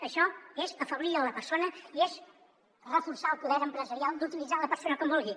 això és afeblir la persona i és reforçar el poder empresarial d’utilitzar la persona com vulgui